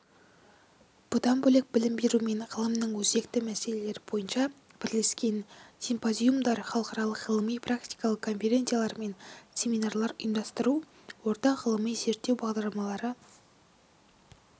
бұдан бөлек білім беру мен ғылымның өзекті мәселелері бойынша бірлескен симпозиумдар халықаралық ғылыми-практикалық конференциялар мен семинарлар ұйымдастыру ортақ ғылыми-зерттеу бағдарламалары